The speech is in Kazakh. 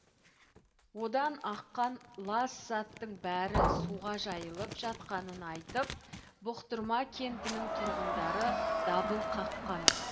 одан аққан лас заттың бәрі суға жайылып жатқанын айтып бұқтырма кентінің тұрғындары дабыл қаққан